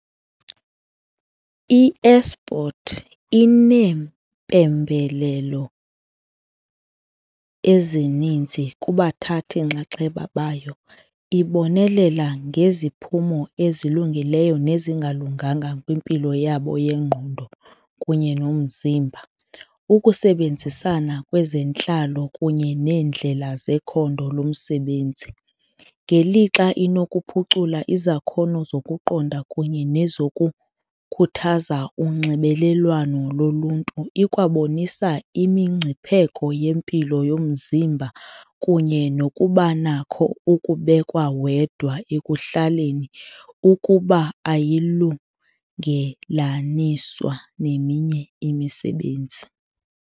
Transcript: I-esport ineempembelelo ezininzi kubathathi-nxaxheba bayo, ibonelela ngeziphumo ezilungileyo nezingalunganga kwimpilo yabo yengqondo kunye nomzimba. Ukusebenzisana kwezentlalo kunye neendlela zekhondo lomsebenzi ngelixa inokuphucula izakhono zokuqonda kunye nezokukhuthaza unxibelelwano loluntu. Ikwabonisa imingcipheko yempilo yomzimba kunye nokuba nakho ukubekwa wedwa ekuhlaleni ukuba ayiyilungelaniswa neminye imisebenzi.